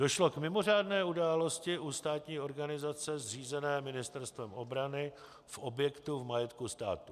Došlo k mimořádné události u státní organizace zřízené Ministerstvem obrany v objektu v majetku státu.